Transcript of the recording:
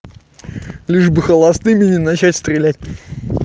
лишь бы холостыми не начать стрелять